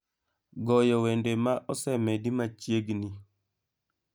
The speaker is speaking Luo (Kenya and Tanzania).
goyo wende ma osemedi machiegni